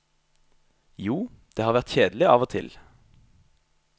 Jo, det har vært kjedelig av og til.